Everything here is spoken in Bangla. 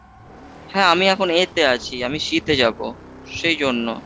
হ্যাঁ আমি এখন A তে আছি আমি C তে যাব সেই জন্য।